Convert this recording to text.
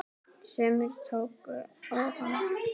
Sumir tóku ofan!